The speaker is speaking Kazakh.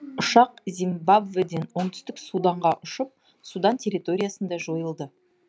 ұшақ зимбабведен оңтүстік суданға ұшып судан терреториясында жойылды